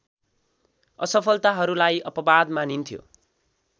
असफलताहरूलाई अपवाद मानिन्थ्यो